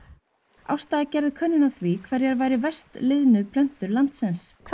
Ásta gerði könnun á því hverjar væru verst liðnu plöntur landsins hvaða